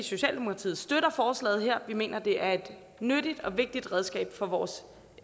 socialdemokratiet støtter forslaget her vi mener at det er et nyttigt og vigtigt redskab for vores